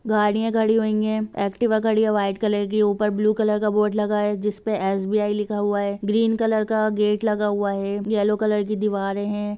गाड़ियां खड़ी हुई है एक्टिवा खड़ी हुई है व्हाइट कलर की ऊपर ब्लू कलर का बोर्ड लगा हुआ है जिसपे एस.बी.आई लिखा हुआ है ग्रीन कलर का गेट है येल्लो कलर की दीवारें है।